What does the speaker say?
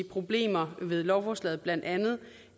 problemer ved lovforslaget blandt andet